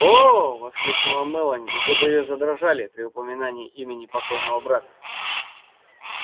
оо воскликнула мелани и губы её задрожали при упоминании имени покойного брата